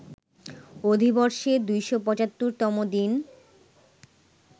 অধিবর্ষে ২৭৫ তম দিন